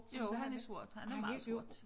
Jo han er sort han er meget sort